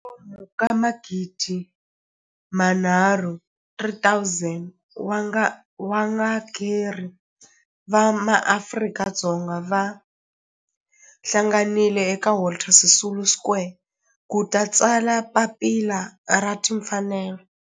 kwalomu ka magidi nharhu 3000 wa varhangeri va maAfrika-Dzonga va hlanganile eka Walter Sisulu Square ku ta tsala Papila ra Tinfanelo.